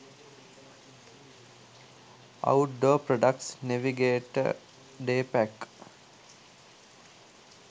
outdoor products navigator day pack